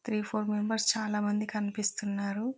Three four members చాల మంది కనిపిస్తున్నారు.